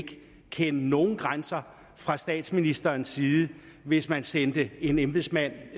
kende nogen grænser fra statsministerens side hvis man sendte en embedsmand